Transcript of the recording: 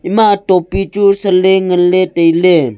ema topi chu sanle nganle tailey.